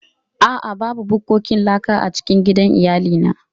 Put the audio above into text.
A'a, babu bukkokin laka a cikin gidan iyalina.